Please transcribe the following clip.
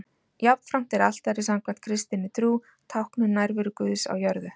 Jafnframt er altarið samkvæmt kristinni trú tákn um nærveru Guðs á jörðu.